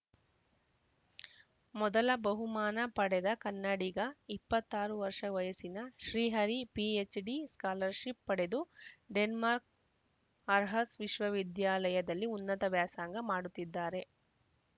ಮೊದಲ ಬಹುಮಾನ ಪಡೆದ ಕನ್ನಡಿಗ ಇಪ್ಪತ್ತ್ ಆರು ವರ್ಷ ವಯಸ್ಸಿನ ಶ್ರೀಹರಿ ಪಿಎಚ್‌ಡಿ ಸ್ಕಾಲರ್‌ಶಿಪ್‌ ಪಡೆದು ಡೆನ್ಮಾರ್ಕ್ನ ಆರ್ಹಸ್‌ ವಿಶ್ವವಿದ್ಯಾಲಯದಲ್ಲಿ ಉನ್ನತ ವ್ಯಾಸಂಗ ಮಾಡುತ್ತಿದ್ದಾರೆ